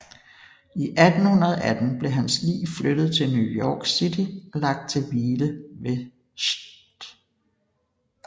I 1818 blev hans lig flyttet til New York City og lagt til hvile ved St